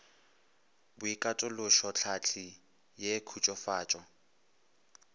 boikatološo tlhahli ye e khutsofatša